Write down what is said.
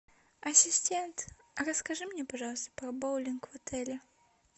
ассистент расскажи мне пожалуйста про боулинг в отеле